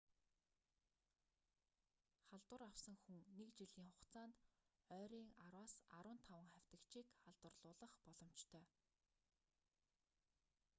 халдвар авсан хүн нэг жилийн хугацаанд ойрын 10-15 хавьтагчийг халдварлуулах боломжтой